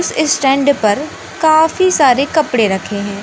इस स्टैंड पर काफी सारे कपड़े रखे हैं।